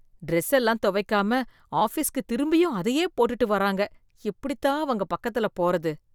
Dress எல்லாம் தொவைக்காம ஆஃபீஸ்க்கு திரும்பியும் அதையே போட்டுட்டு வராங்க எப்படி தான் அவங்க பக்கத்துல போறது?